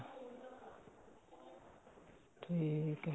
ਠੀਕ ਏ